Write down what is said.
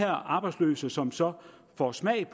arbejdsløse som så får smag